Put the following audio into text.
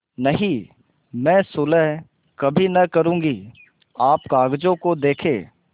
नहीं मैं सुलह कभी न करुँगी आप कागजों को देखें